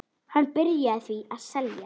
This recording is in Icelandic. Hann byrjaði því að selja.